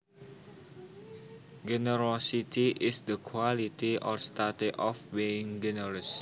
Generosity is the quality or state of being generous